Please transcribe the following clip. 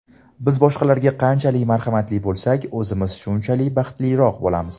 Biz boshqalarga qanchalik marhamatli bo‘lsak, o‘zimiz shunchalik baxtliroq bo‘lamiz.